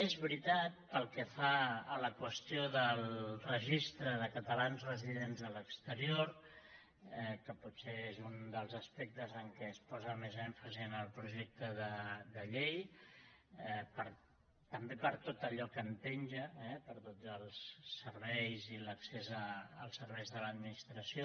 és veritat pel que fa a la qüestió del registre de catalans residents a l’exterior que potser és un dels aspectes en què es posa més èmfasi en el projecte de llei també per tot allò que en penja eh per tots els serveis i l’accés als serveis de l’administració